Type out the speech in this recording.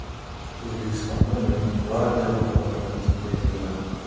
O‘zbekistonda Milliy gvardiya vakolatlari kengaytiriladi.